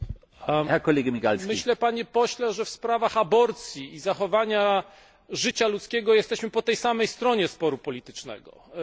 Myślę, Panie Pośle, że w sprawach aborcji i zachowania życia ludzkiego jesteśmy po tej samej stronie sporu politycznego czy ideologicznego.